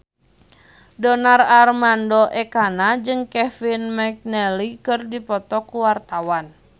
Donar Armando Ekana jeung Kevin McNally keur dipoto ku wartawan